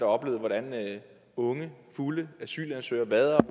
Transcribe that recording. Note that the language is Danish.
oplevet hvordan unge fulde asylansøgere vader